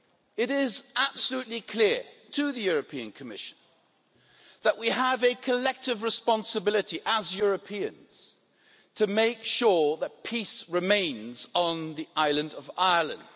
It is absolutely clear to the Commission that we have a collective responsibility as Europeans to make sure that peace remains on the island of Ireland.